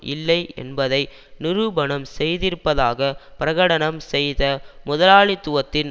இல்லை என்பதை நிரூபணம் செய்திருப்பதாக பிரகடனம் செய்த முதலாளித்துவத்தின்